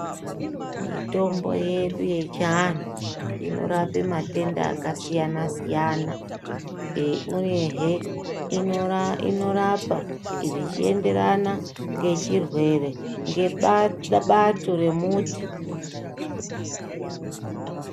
Mitombo yedu yechianhu inorapa matenda akasiyana-siyana, eee ,uyehe inorapa zvichienderana ngechirwere ngebato remuti.